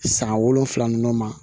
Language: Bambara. San wolonfila nunnu ma